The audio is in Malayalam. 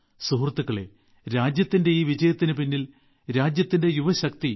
സുഹൃത്തുക്കളേ രാജ്യത്തിന്റെ ഈ വിജയത്തിന് പിന്നിൽ രാജ്യത്തിന്റെ യുവശക്തി